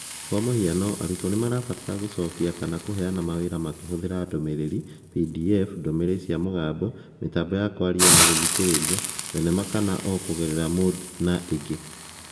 Kwa mũhiano, arutwo nĩ marabatara gũcokia kana kũneana mawĩra makĩhũthĩra ndũmĩrĩri, PDF, ndũmĩrĩri cia mũgambo, mĩtambo ya kwaria na gũgũthikĩrĩria, thenema kana o na kũgerera Moodle na ingĩ.